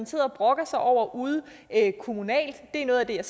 sidder og brokker sig over ude kommunalt det er noget af det jeg